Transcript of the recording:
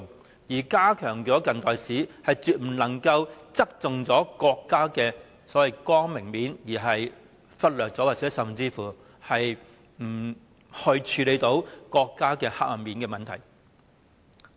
此外，要加強近代史，亦絕不能夠只側重國家的光明面而忽略及不處理黑暗面。